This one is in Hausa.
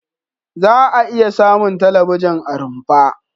Za'a iya samun talabijin a rumfa.